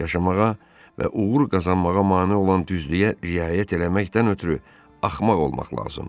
Yaşamağa və uğur qazanmağa mane olan düzlüyə riayət eləməkdən ötrü axmaq olmaq lazımdı.